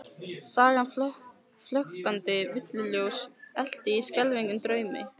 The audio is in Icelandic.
Sagan flöktandi villuljós elt í skelfilegum draumi?